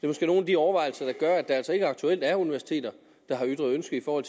måske nogle af de overvejelser der gør at der altså ikke aktuelt er universiteter der har ytret ønske over